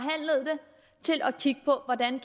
at kigge på hvordan